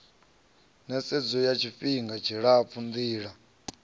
nisedzo ya tshifihnga tshilapfu ndila